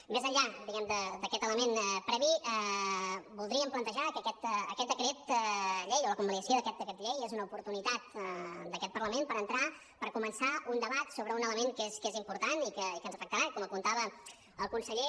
mes enllà diguem ne d’aquest element previ voldríem plantejar que aquest decret llei o la convalidació d’aquest decret llei és una oportunitat d’aquest parlament per entrar per començar un debat sobre un element que és important i que ens afectarà com apuntava el conseller